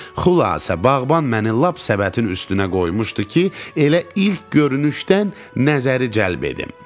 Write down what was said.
Xülasə, bağban məni lap səbətin üstünə qoymuşdu ki, elə ilk görünüşdən nəzəri cəlb edim.